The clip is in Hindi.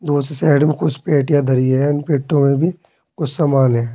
दूसरी साइड में कुछ पेटियां धरी हैं इन पेटियों मे भी कुछ सामान है।